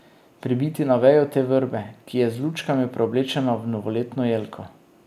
Pribiti na vejo te vrbe, ki je z lučkami preoblečena v novoletno jelko.